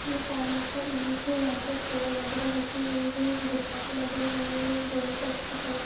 ये पार्लर का इमेज है यहाँ पर चेयर बागेरा लगे हुए है गुब्बारे लगे हुए है रूम को अच्छी तरह से--